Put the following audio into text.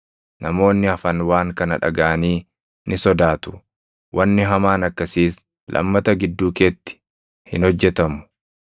Namoonni hafan waan kana dhagaʼanii ni sodaatu; wanni hamaan akkasiis lammata gidduu keetti hin hojjetamu.